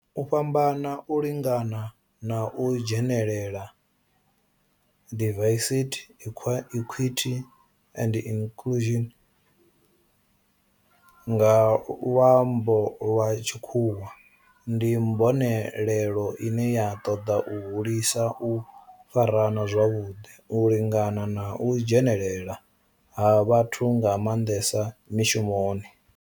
U fhambana, u lingana na u dzhenelela diversity, equity and inclusion nga lwambo lwa tshikhuwa ndi mbonelelo ine ya ṱoḓa u hulisa u farana zwavhudi, u lingana na u dzhenelela ha vhathu nga mandesa mishumoni.